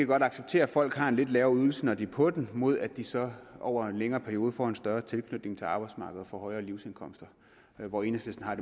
kan acceptere at folk har en lidt lavere ydelse når de er på den imod at de så over en længere periode får en større tilknytning til arbejdsmarkedet og får højere livsindkomster og enhedslisten har